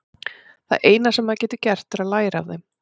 Það eina sem maður getur gert er að læra af þeim.